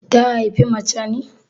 Ta haifi mace ne?